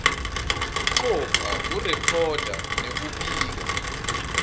kucopha kurekhoda nekubika